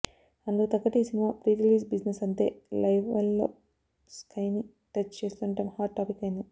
అందుకు తగ్గట్టే ఈ సినిమా ప్రీరిలీజ్ బిజినెస్ అంతే లెవల్లో స్కైని టచ్ చేస్తుండడం హాట్ టాపిక్ అయ్యింది